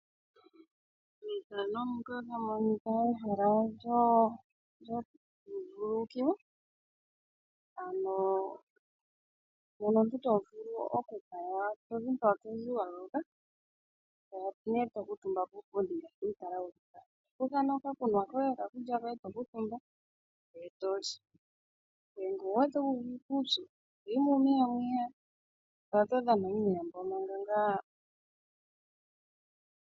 Ethano ndika otamu monika ehala lyoku vululukilwa ano mono omuntu to vulu oku kala una tozi mpa tozi waloloka. Opo nee to kuutumba puupundi ngaashi wewu tala wuli ngaa. To kutha okakunwa koye okakulya koye tokuutumba ndee toli. Nenge owu wete wu uvite uupyu toyi muumeya mono to kala to dhana uumeya mbono ngaa.